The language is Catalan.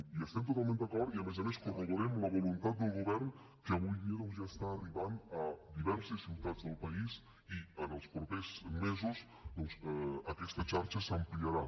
hi estem totalment d’acord i a més corroborem la voluntat del govern que avui dia ja està arribant a diverses ciutats del país i en els propers mesos doncs aquesta xarxa s’ampliarà